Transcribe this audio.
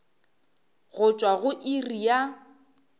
go tšwa go iri ya